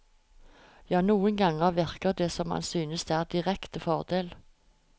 Ja, noen ganger virker det som om han synes det er en direkte fordel.